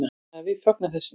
Þannig að við fögnum þessu.